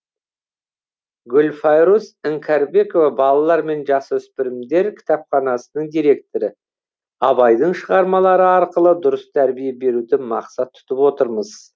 гүлфайруз іңкәрбекова балалар мен жасөспірімдер кітапханасының директоры абайдың шығармалары арқылы дұрыс тәрбие беруді мақсат тұтып отырмыз